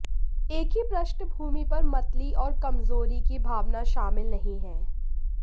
एक ही पृष्ठभूमि पर मतली और कमजोरी की भावना शामिल नहीं है